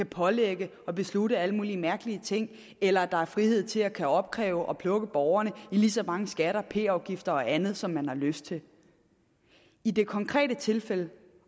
pålægge og beslutte alle mulige mærkelige ting eller at der er frihed til at kunne opkræve og plukke borgerne for lige så mange skatter p afgifter og andet som man har lyst til i det konkrete tilfælde